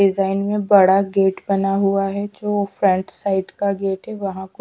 Design में बड़ा gate बना हुआ है जो फ्रंट साइड का गेट है।